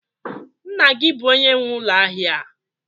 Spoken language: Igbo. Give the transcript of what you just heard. Nna gi bu onye nwe ulo ahia a?